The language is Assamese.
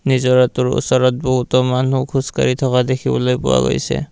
নিজৰাটোৰ ওচৰত বহুতো মানুহ খোজকাঢ়ি থকা দেখিবলৈ পোৱা গৈছে।